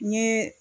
N ye